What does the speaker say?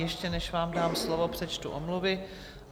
Ještě než vám dám slovo, přečtu omluvy.